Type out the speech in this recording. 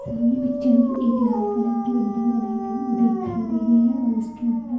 सामने पिक्चर में एक लाल कलर की बिल्डिंग बनाई दिखाई दे रही है और उसके ऊपर--